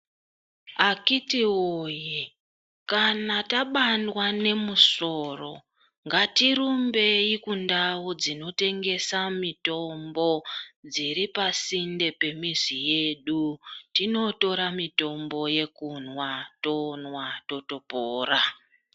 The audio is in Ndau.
Akitiwoye kana tabandwa nemusoro ngatirambei kundau dzinotengesa mitombo dziripasinte pemizi yedu tinotora mitombo yekumwa tomwa totopora.